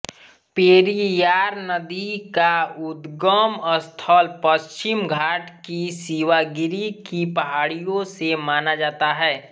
पेरियार नदी का उद्गम स्थल पश्चिम घाट की शिवागिरी की पहाड़ियों से माना जाता है